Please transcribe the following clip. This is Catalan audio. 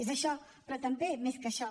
és això però també més que això